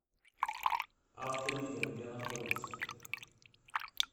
авто лидер где находится